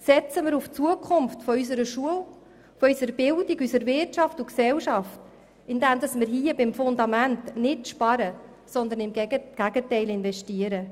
Setzen wir auf die Zukunft unserer Schule und unserer Bildung, unserer Wirtschaft und Gesellschaft, indem wir hier beim Fundament nicht sparen, sondern vielmehr investieren!